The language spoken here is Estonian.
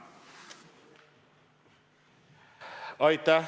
Tänan!